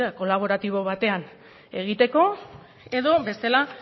kolaboratibo batean egiteko edo bestela